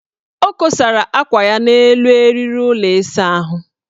O kosara akwa ya n' elu eriri ụlọ ịsaahụ.